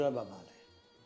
Gözləməməli.